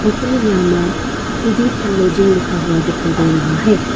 Hotel यामा fooding and lodging लिखा हुआ दिखाई दे रहा है।